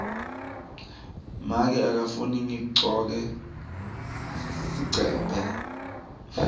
make akafuni ngigcoke sigcebhe